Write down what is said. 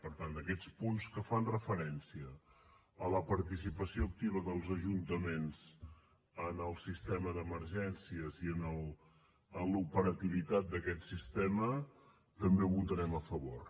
per tant aquests punts que fan referència a la participació activa dels ajuntaments en el sistema d’emergències i en l’operativitat d’aquest sistema també els votarem a favor